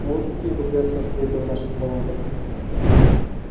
вот какие богатства скрыты в наших болотах